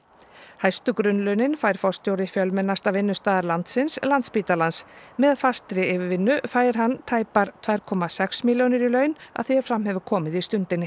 hæstu grunnlaunin fær forstjóri fjölmennasta vinnustaðar landsins Landspítalans með fastri yfirvinnu fær hann tæpar tvær komma sex milljónir í laun að því er fram hefur komið í Stundinni